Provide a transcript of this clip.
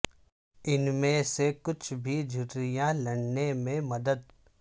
ان میں سے کچھ بھی جھرریاں لڑنے میں مدد